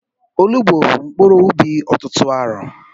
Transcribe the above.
Onugbu bụ mkpuru ubi ọtụtụ arọ